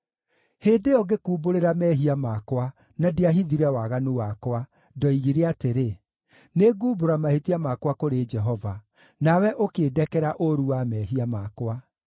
Hĩndĩ ĩyo ngĩkumbũrĩra mehia makwa, na ndiahithire waganu wakwa, ndoigire atĩrĩ, “Nĩngumbũra mahĩtia makwa kũrĩ Jehova,” nawe ũkĩndekera ũũru wa mehia makwa.